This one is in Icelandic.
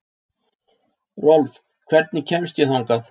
Rolf, hvernig kemst ég þangað?